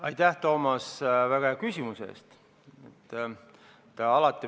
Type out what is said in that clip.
Aitäh, Toomas, väga hea küsimuse eest!